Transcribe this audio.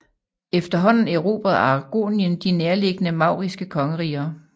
Efterhånden erobrede Aragonien de nærliggende mauriske kongeriger